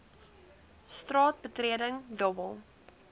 straat betreding dobbel